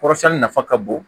Kɔrɔsɛnni nafa ka bon